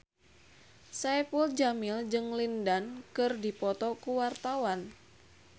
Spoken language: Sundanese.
Saipul Jamil jeung Lin Dan keur dipoto ku wartawan